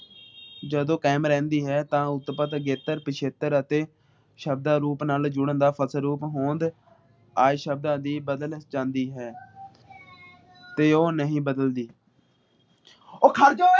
ਜਦੋਂ ਕਯਾਮ ਰਹਿੰਦੀ ਹੈ । ਤਾ ਉਤਪਾਤ ਅਗੇਤਰ ਪਿਛੇਤਰ ਅਤੇ ਸ਼ਬਦਾਂ ਰੂਪ ਨਾਲ ਜੁੜਣ ਦਾ ਹੋਂਦ ਆਏ ਸ਼ਬਦਾਂ ਦੀ ਬਦਲ ਜਾਂਦੀ ਹੈ ਤੇ ਉਹ ਨਹੀਂ ਬਦਲਦੀ